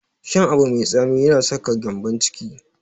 Shan abu mai tsami yana saka gyambon ciki.